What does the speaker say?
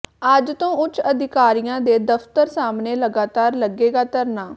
ਅੱਜ ਤੋਂ ਉੱਚ ਅਧਿਕਾਰੀਆਂ ਦੇ ਦਫਤਰ ਸਾਹਮਣੇ ਲਗਾਤਾਰ ਲੱਗੇਗਾ ਧਰਨਾ